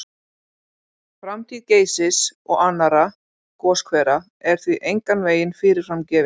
Framtíð Geysis og annarra goshvera er því engan veginn fyrirfram gefin.